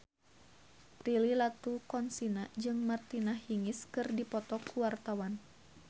Prilly Latuconsina jeung Martina Hingis keur dipoto ku wartawan